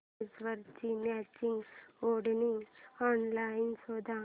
ड्रेसवरची मॅचिंग ओढणी ऑनलाइन शोध